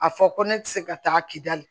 A fɔ ko ne tɛ se ka taa kidali